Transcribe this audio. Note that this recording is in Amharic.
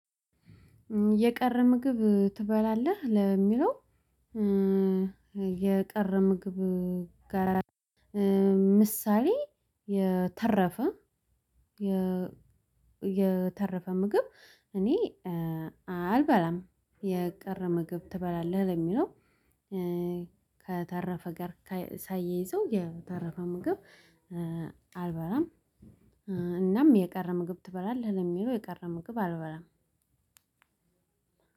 የቀረ ምግብ ትበላለህ ለሚለው? የቀረ ምግብ ጋር ምሳሌ የተረፈ። የተረፈ ምግብ እኔ አልበላም። የቀረ ምግብ ትበላለህ ለሚለው? ከተረፈ ጋር ሳያይዘው የተረፈ ምግብ አልበላም። እናም የቀረ ምግብ ትበላለህ ለሚለው የቀረ ምግብ አልበላም።